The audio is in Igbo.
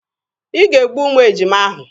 Ị ga-egbu ụmụ ejima ahụ!